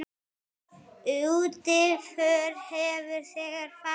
Útför hefur þegar farið fram.